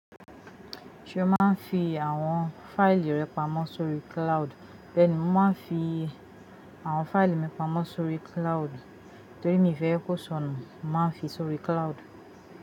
Ṣe o ma ń fi àwọn fáìlì rẹ pamọ́ sórí cloud? Bẹ́ẹ̀ni, mo ma ń fi àwọn fáìlì mi pamọ́ sórí cloud torí mi fẹ́ kó sọnù, mo ma ń fi sórí cloud.